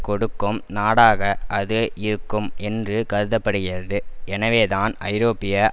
கொடுக்கும் நாடாக அது இருக்கும் என்று கருத படுகிறது எனவேதான் ஐரோப்பிய